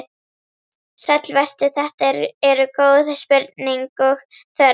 Sæll vertu, þetta eru góð spurning og þörf.